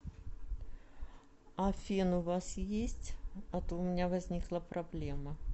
а фен у вас есть а то у меня возникла проблема